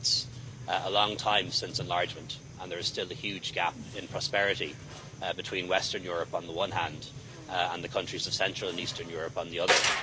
It's been a long time since enlargement and there is still a huge gap in prosperity between Western Europe, on the one hand, and the countries of Central and Eastern Europe, on the other.